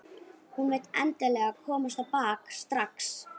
Hún vill endilega komast á bak strax.